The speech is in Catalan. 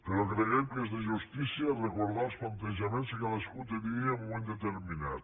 però creiem que és de justícia recordar els plantejaments que cadascú tenia en un moment determinat